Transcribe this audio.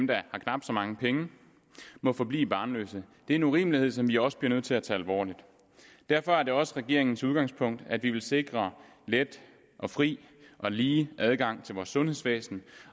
der har knap så mange penge må forblive barnløse det er en urimelighed som vi også bliver nødt til at tage alvorligt derfor er det også regeringens udgangspunkt at vi vil sikre let og fri og lige adgang til vores sundhedsvæsen